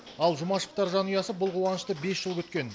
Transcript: ал жұмашевтар жанұясы бұл қуанышты бес жыл күткен